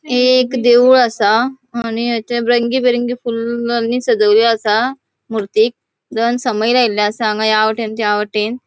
हे एक देऊळ असा आणि हेते रंगी बिरंगी फुलानी सजेले असा मूर्ति दोन समई लायली असा हांगा या वाटेन त्या वाटेन.